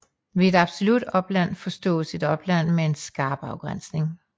Ved et absolut opland forstås et opland med en skarp afgrænsning